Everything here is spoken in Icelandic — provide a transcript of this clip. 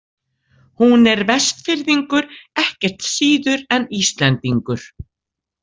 Hún er Vestfirðingur ekkert síður en Íslendingur.